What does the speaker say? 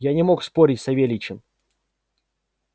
я не мог спорить с савельичем